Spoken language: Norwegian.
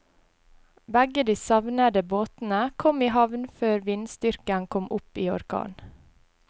Begge de savnede båtene kom i havn før vindstyrken kom opp i orkan.